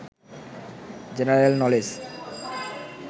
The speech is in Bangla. general knowledge